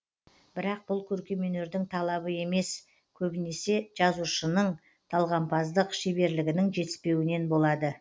бірак бұл көркемөнердің талабы емес көбінесе жазушынын талғампаздық шеберлігінің жетіспеуінен болады